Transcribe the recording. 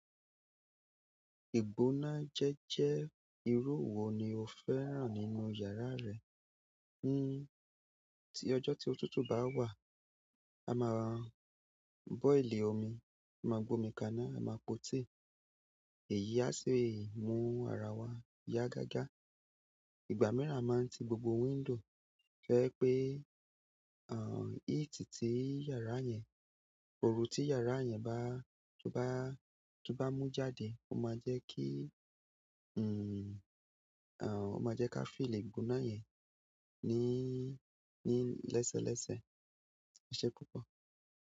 Igbóná jẹ́jẹ́ irú wo ni o fẹ́ràn nínú yàrá rẹ? Ni, tí ọjọ́ tí ótútù bá wà, a máa boil omi, a máa gbomi kaná, a máa pọ̀ tíì. Èyí á sì mú ara wa yá gágá. Ìgbà míràn a máa ń tì gbogbo window, tó jẹ́ pé ah heat ti yàrá yẹn, òru ti yàrá yẹn bá, tó bá, tó bá mú jáde o má jẹ́ kí uhn àn, ó máa jẹ́ ká feel igbóná yẹn ní, ní lésẹ̀ lésẹ̀. E ṣé púpọ̀.